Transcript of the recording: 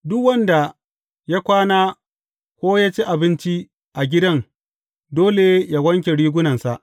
Duk wanda ya kwana ko ya ci abinci a gidan dole yă wanke rigunansa.